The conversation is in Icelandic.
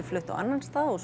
flutt á annan stað og